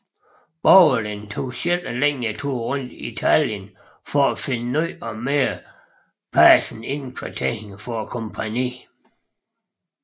Borgelin tog selv en længere tur rundt i Tallinn for at finde nye og mere passende indkvartering for kompagniet